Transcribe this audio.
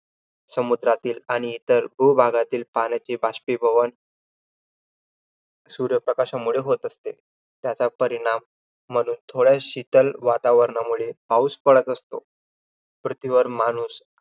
समुद्रातील आणि इतर भूभागातील पाण्याचे बाष्पीभवन सूर्य प्रकाशामुळे होत असते. त्याचा परिणाम म्हणून, थोड्या शीतल वातावरणामुळे पाउस पडत असतो. पृथ्वीवर माणूस